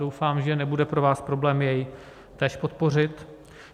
Doufám, že nebude pro vás problém jej též podpořit.